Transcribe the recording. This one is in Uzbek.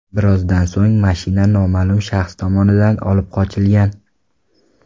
Birozdan so‘ng mashina noma’lum shaxs tomonidan olib qochilgan.